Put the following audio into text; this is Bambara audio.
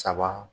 Saba